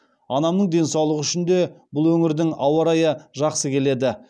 анамның денсаулығы үшін де бұл өңірдің ауарайы жақсы келеді